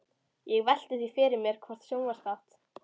Ég velti því fyrir mér hvort sjónvarpsþátt